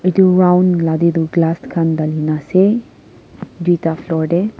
edu round la dedu glass khan dalhi na ase duita floor dey.